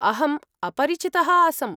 अहम् अपरिचितः आसम्।